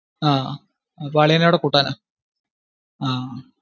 ആ അപ്പൊ അളിയനേം കൂടി കൂട്ടാനാ?